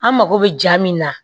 An mako bɛ jaa min na